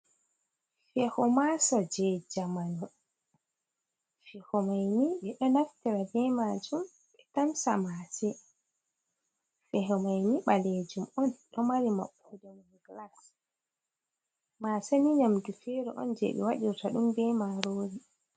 Feho masa do je jamanu. Feho maini ɓeɗonaftira be majum ɓe tamsa mase. Fehomaini balejum on do mari moɓɓodemun glas. Ma seni nyamdu fere on je be wadirta dum be marori.